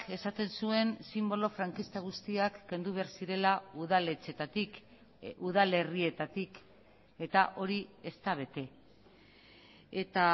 esaten zuen sinbolo frankista guztiak kendu behar zirela udaletxeetatik udalerrietatik eta hori ez da bete eta